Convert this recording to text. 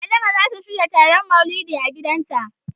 Adama zata shirya taron Maulidi a gidanta.